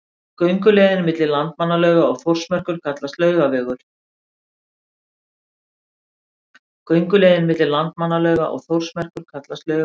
Gönguleiðin milli Landmannalauga og Þórsmerkur kallast Laugavegur.